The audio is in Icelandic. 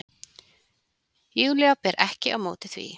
Júlía ber ekki á móti því.